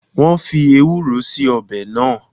Wọn fii Ewúró síí ọbẹ̀ náà